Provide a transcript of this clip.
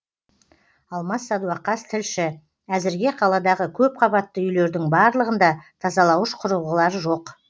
алмас сәдуақас тілші әзірге қаладағы көпқабатты үйлердің барлығында тазалауыш құрылғылар жоқ